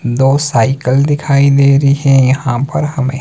दो साइकल दिखाई दे रही हैं यहां पर हमें।